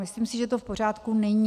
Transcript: Myslím si, že to v pořádku není.